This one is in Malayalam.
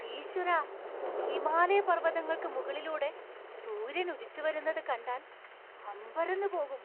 ഈശ്വരാ, ഹിമാലയപർവ്വതങ്ങൾക്ക് മുകളിലൂടെ സൂര്യൻ ഉദിച്ചുവരുന്നത് കണ്ടാൽ അമ്പരന്ന് പോകും.